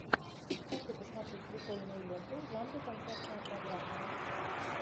хочу посмотреть прикольную ленту в жанре концертная программа